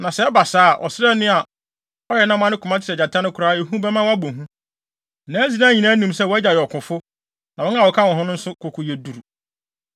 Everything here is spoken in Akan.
Na sɛ ɛba saa a, ɔsraani a ɔyɛ nnam a ne koma te sɛ gyata no koraa, ehu bɛma wabɔ hu. Na Israel nyinaa nim sɛ wʼagya yɛ ɔkofo, na wɔn a wɔka ne ho no nso koko yɛ duru.